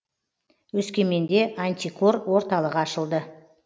өскеменде антикор орталығы ашылды